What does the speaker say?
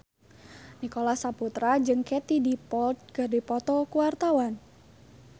Nicholas Saputra jeung Katie Dippold keur dipoto ku wartawan